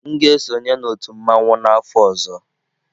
M ga-esonye na otu mmanwu n'afọ ọzọ.